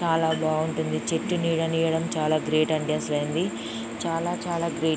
చాల బావుంటుంది. చెట్టు నీడనివ్వడం చాల గ్రేట్ అండి అసలైంది. చాల చాల గ్రేట్ .